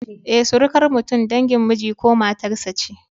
Eh, surukar mutum dangin miji ko matar sa ce